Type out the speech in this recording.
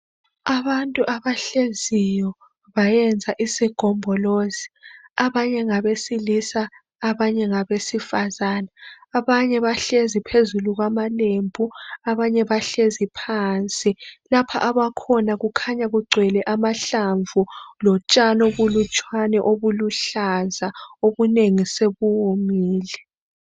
Abantu abahleziyo, bayenza isigombolozi. Abanye ngabesilisa, abanye ngabesifazana. Abahlezi phezulu kwamalembu. Abanye bahlezi phansi. Lapha abakhona, kukhanya kugcwele amahlamvu, lotshani obulutshwane, obuluhlaza. Obunengi sebuwomile.